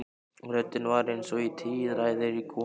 Röddin var eins og í tíræðri konu.